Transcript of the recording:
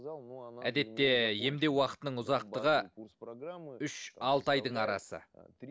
әдетте емдеу уақытының ұзақтығы үш ай айдың арасы